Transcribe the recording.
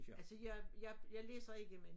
Altså jeg jeg jeg læser ikke men